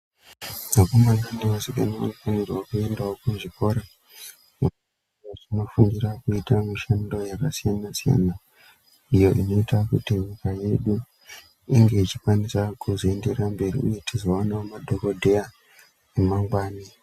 Vakomana nevasikana vanofanirwawo kuenda kuzvikora kundofundira kuita mishando yakasiyana-siyana iyo inoita kuti nyika yedu inge ichikwanisa kuenderera mberi ichizowanawo madhokodheya emangwani.